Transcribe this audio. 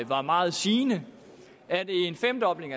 var meget sigende at en femdobling